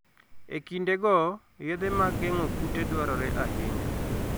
E kindego, yedhe mag geng'o kute dwarore ahinya.